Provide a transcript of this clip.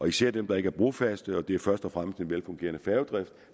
især dem der ikke er brofaste og det er først og fremmest en velfungerende færgedrift